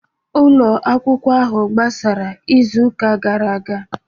Ụlọ akwụkwọ ahụ gbasara izu ụka gara aga